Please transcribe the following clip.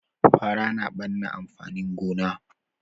Fara na ɓanna amfanin gona